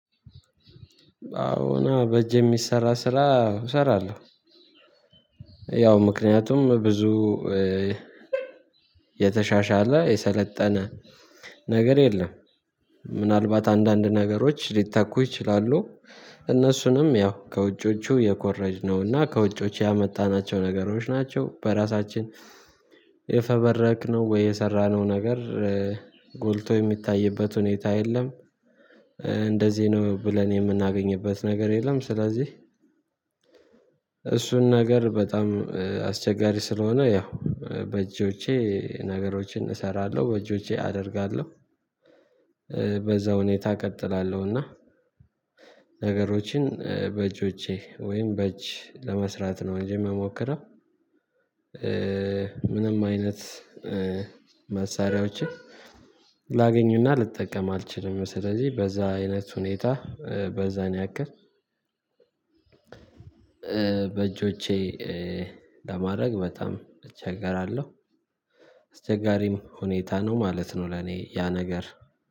አዎና በእጅ የሚሰራ ስራ እሰራለሁ ያው ምክንያቱም ብዙ የተሻሻለ የሰለጠነ ነገር የለም ምናልባት አንዳንድ ነገሮች ሊተኩ ይችላሉ እነሱንም ያው ከውጮቹ የኮረጅነውና ከውጮች ያመጣናቸው ነገሮች ናቸው በራሳችን የፈበረክነው ወይ የሰራነው ነገር ጎልቶ የሚታይበት ሁኔታ የለም። እንደዚህ ነው ብለን የምናገኝበት ነገር የለም ስለዚህ እሱን ነገር በጣም አስቸጋሪ ስለሆነ ያው በእጆቼ ነገሮችን እሰራለሁ በእጆቼ አደርጋለሁ በዛ ሁኔታ እቀጥላለሁና ነገሮችን በእጆቼ ወይም በእጅ ለመስራት ነው እንጂ የምሞክረው ምንም አይነት መሳሪያዎችን ላገኝና ልጠቀም አልችልም ስለዚህ በዛ አይነት ሁኔታ በዛን ያክል በእጆቼ ለማድረግ በጣም እቸገራለሁ አስቸጋሪም ሁኔታ ነው ማለት ነው ለኔ ያ ነገር